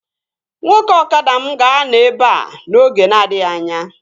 Nwoke ọkada m ga-anọ ebea n'oge na-adịghị anya